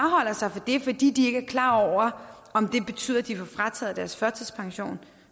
det fordi de ikke er klar over om det betyder at de får frataget deres førtidspension